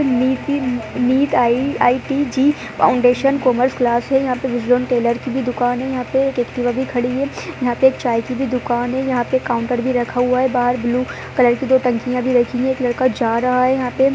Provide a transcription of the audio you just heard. निति NEET IIT JEE. Foundation commerce class है। यहाँ पे निजोन टेलर की भी दुकान है। यहाँं पे एक्टिवा भी खड़ी है। यहाँं पे चाय की भी दुकान है। यहाँं पे काउंटर भी रखा हुआ है बाहर ब्लू कलर की टंकीया भी रखी है। एक लड़का जा रहा है यहाँं पे ।